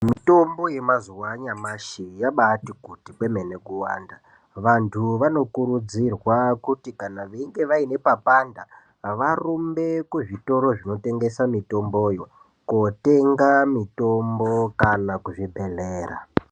Mutombo yemazuwa anyamshi yaambati kuti kwemene kuwanda vanthu vanokurudzirwa kuti kana veinge vane papanda varumbe kuzvitoro zvinotngesa mitomboyo varumbe kuzvitoro zvinotengesa mitomboyo kotenga mitombo kana kuzvibhedhlera.